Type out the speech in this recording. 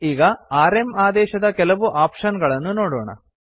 ಈಗ್ ಆರ್ಎಂ ಆದೇಶದ ಕೆಲವು ಆಪ್ಶನ್ ಗಳನ್ನು ನೋಡೋಣ